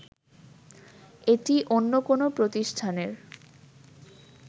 এটি অন্য কোনো প্রতিষ্ঠানের